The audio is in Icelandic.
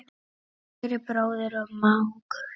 Kæri bróðir og mágur.